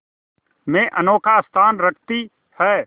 में अनोखा स्थान रखती है